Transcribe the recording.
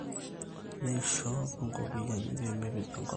Neishop inkopiani pemepej enkolong